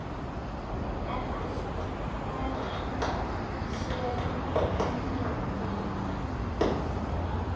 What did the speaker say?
En ætlar hann sér marga nýja útlendinga?